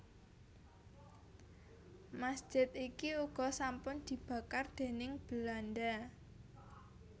Masjid iki uga sampun dibakar déning Belanda